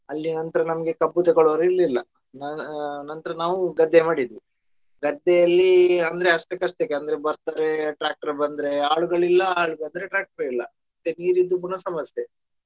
ಅಲ್ಲಿ ನಂತರ ನಮಗೆ ಕಬ್ಬು ತಕೊಳ್ಳುವವರು ಇರ್ಲಿಲ್ಲ ಆ ಆ ನಂತ್ರ ನಾವು ಗದ್ದೆ ಮಾಡಿದ್ವಿ ಗದ್ದೆಯಲ್ಲಿ ಅಂದ್ರೆ ಅಷ್ಟಕಷ್ಟೆ ಅಂದ್ರೆ ಬರ್ತಾರೆ tractor ಬಂದ್ರೆ ಆಳುಗಳಿಲ್ಲ ಆಳು ಬಂದ್ರೆ tractor ಇಲ್ಲ ಮತ್ತೆ ನೀರಿದ್ದು ಪುನಃ ಸಮಸ್ಯೆ.